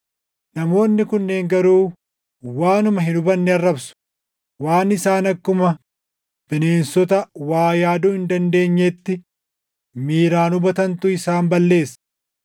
Namoonni kunneen garuu waanuma hin hubanne arrabsu; waan isaan akkuma bineensota waa yaaduu hin dandeenyeetti miiraan hubatantu isaan balleessa.